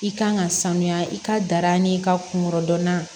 I kan ka sanuya i ka dar'i ka kungo dɔnna